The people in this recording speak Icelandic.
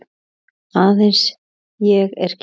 Aðeins ég er kyrr.